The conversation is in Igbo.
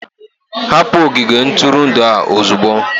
Hapụ ogige ntụrụndụ a ozugbo!